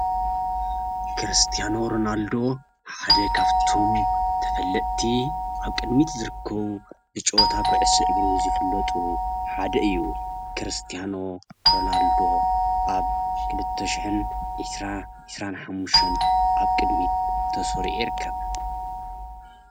ክርስቲያኖ ሮናልዶ ሓደ ካብቶም ተፈለጥቲ ኣብ ቅድሚት ዝርከቡ ብጮወታ ኩዕሶ እግሪ ዝፍለጡ ሓደ እዩ። ክርስቲያኖ ሮናልዶ ኣብ ክልተ ሸሕን ዒስራን ሓሙሽተን ኣብ ቅድሚት ተሰሪዑ ይርከብ።